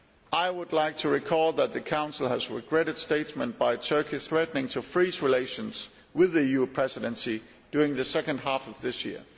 I would like to recall that the Council has regretted statements by Turkey threatening to freeze relations with the EU Presidency during the second half of this year.